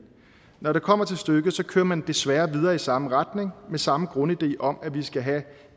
når det kommer til stykket kører man desværre videre i samme retning med samme grundidé om at vi skal have